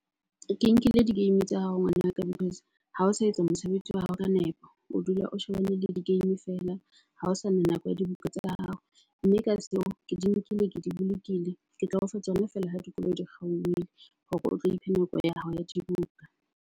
Ke nkile di-game tsa hao ngwanaka because ha o sa etsa mosebetsi wa hao ka nepo. O dula o shebella di-game feela, ha ho sana nako ya dibuka tsa hao, mme ka seo ke di nkile, ke di bolokile. Ke tla o fa tsona feela ha dikolo di kgaohile hore o tlo iphe nako ya hao ya dibuka.